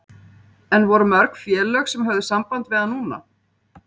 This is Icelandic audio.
En voru mörg félög sem höfðu samband við hann núna?